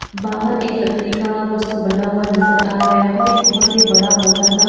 बाहर एक लकड़ी का कुछ तो बना हुआ नजर आ रहा है और एक बोहत बड़ा मोटा सा--